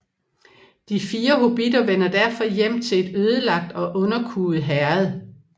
De fire hobbitter vender derfor hjem til et ødelagt og underkuet Herred